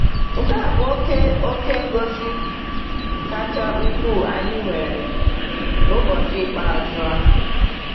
Nke a bụ oke oke ngọzi kacha ukwuu anyị nwere n’ụbọchị ikpeazụ a.